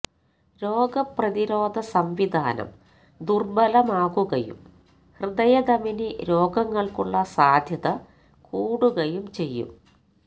രോഗ പ്രതിരോധ സംവിധാനം ദുര്ബലമാകുകയും ഹൃദയധമനീ രോഗങ്ങള്ക്കുള്ള സാധ്യത കൂടുകയും ചെയ്യും